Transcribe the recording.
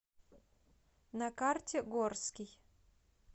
на карте горский